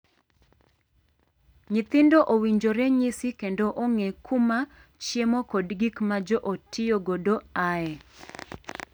Nyithindo owinjore nyisi kendo ong'ee kuma chiemo kod gik ma joot tiyo godo aaye.